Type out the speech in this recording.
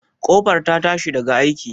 Ƙofar ta tashi daga aiki?